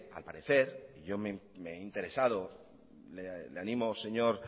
al parecer y yo me he interesado le animo señor